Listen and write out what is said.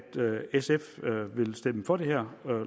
sf vil stemme for det her